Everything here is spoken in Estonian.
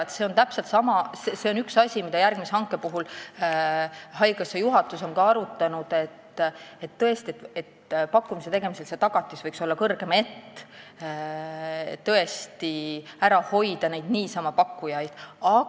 Üks asi, mida haigekassa juhatus on ka järgmise hanke puhul arutanud, on see, et pakkumise tegemisel võiks see tagatis kõrgem olla, et tõesti neid niisama pakkujaid eemal hoida.